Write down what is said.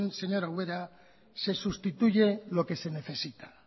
señora ubera se sustituye lo que se necesita